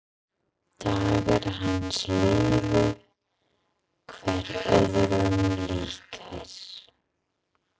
Dagar hans liðu hver öðrum líkir.